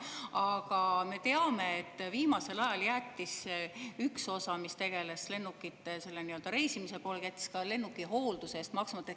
Aga me teame, et viimasel ajal jättis üks osa, mis tegeles selle nii-öelda reisimise poolega, ka lennuki hoolduse eest maksmata.